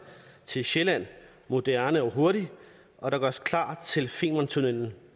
til sjælland moderne og hurtig og der gøres klar til femern tunnelen